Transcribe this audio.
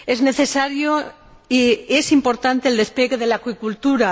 Es importante el despliegue de la acuicultura.